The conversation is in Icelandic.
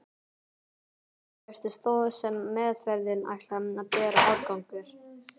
Um tíma virtist þó sem meðferðin ætlaði að bera árangur.